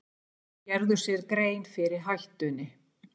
Gerðu sér grein fyrir hættunni